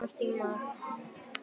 Að komast í mark